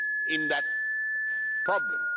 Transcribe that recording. in that problem.